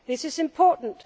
This is important.